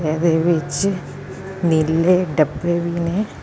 ਇਦੇ ਵਿੱਚ ਨੀਲੇ ਡੱਬੇ ਵੀ ਨੇ।